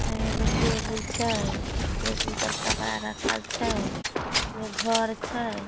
एने एगो टेबुल छै टेबुल पर कपड़ा रखल छै उने घर छै।